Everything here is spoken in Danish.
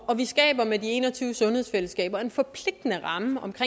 og vi skaber med de en og tyve sundhedsfællesskaber en forpligtende ramme om det